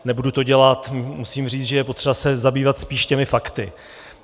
Nebudu to dělat, musím říct, že je potřeba se zabývat spíš těmi fakty.